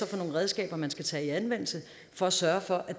for redskaber man skal tage i anvendelse for at sørge for